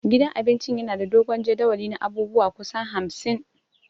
Gidan cin abincin yana da dogon jadawali na abubuwa kusan hamsin